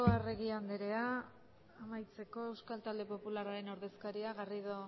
arregi anderea amaitzeko euskal talde popularraren ordezkariak garrido